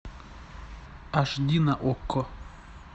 аш ди на окко